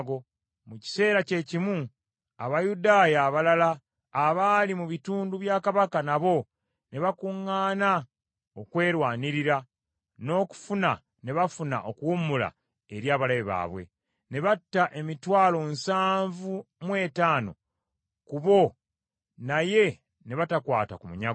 Mu kiseera kyekimu Abayudaaya abalala abaali mu bitundu bya Kabaka nabo ne bakuŋŋaana okwerwanirira, n’okufuna ne bafuna okuwummula eri abalabe baabwe. Ne batta emitwalo nsanvu mu etaano ku bo naye ne batakwata ku munyago.